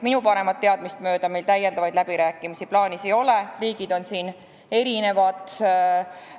Minu paremat teadmist mööda meil rohkem läbirääkimisi plaanis ei ole, ehkki liikmesriikide seisukohad on siin erinevad.